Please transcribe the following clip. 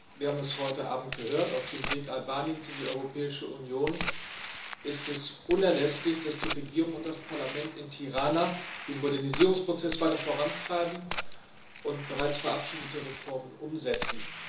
Wir haben es heute Abend gehört Auf dem Weg Albaniens in die Europäische Union ist es unerlässlich, dass die Regierung und das Parlament in Tirana den Modernisierungsprozess weiter vorantreiben und bereits verabschiedete Reformen umsetzen.